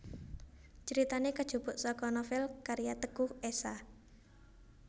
Critane kajupuk saka novel karya Teguh Esha